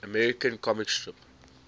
american comic strip